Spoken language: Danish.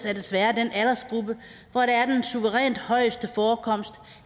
er desværre den aldersgruppe hvor der er den suverænt højeste forekomst